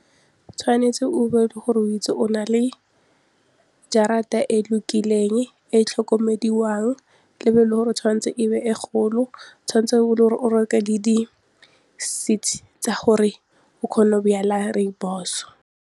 Tshwanetse o be e le gore o itse o na le jarata e lokileng, e tlhokomediwang e be e le gore tshwanetse e be e golo, tshwanetse e be e le gore o reke le di-seeds tsa gore o kgona go rooibos.